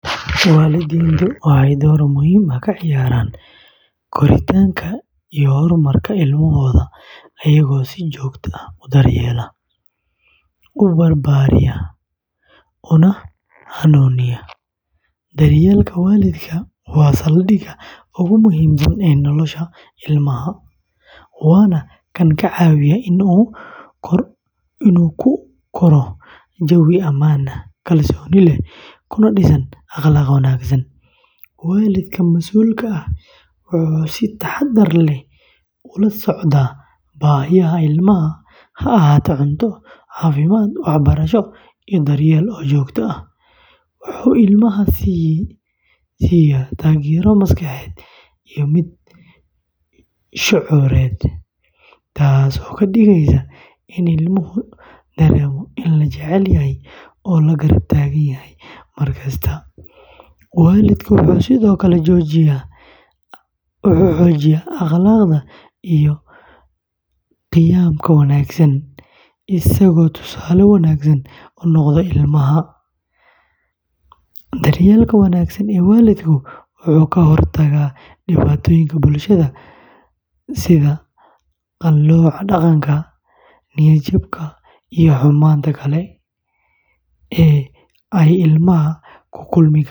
Waalidiintu waxay door muhiim ah ka ciyaaraan koritaanka iyo horumarka ilmahooda iyagoo si joogto ah u daryeela, u barbara, una hanuuniya. Daryeelka waalidku waa saldhigga ugu muhiimsan ee nolosha ilmaha, waana kan ka caawiya in uu ku koro jawi ammaan ah, kalsooni leh, kuna dhisana akhlaaq wanaagsan. Waalidka masuulka ah wuxuu si taxaddar leh ula socdaa baahiyaha ilmaha, ha ahaato cunto, caafimaad, waxbarasho, iyo dareen jacayl oo joogto ah. Wuxuu ilmaha siisaa taageero maskaxeed iyo mid shucuureed, taasoo ka dhigaysa in ilmuhu dareemo in la jecel yahay oo la garab taagan yahay mar kasta. Waalidku wuxuu sidoo kale xoojiyaa akhlaaqda iyo qiyamka wanaagsan, isagoo tusaale wanaagsan u noqda ilmaha. Daryeelka wanaagsan ee waalidku wuxuu ka hortagaa dhibaatooyinka bulshada sida qallooca dhaqan, niyad-jabka, iyo xumaanta kale ee ay ilmaha la kulmi karaan.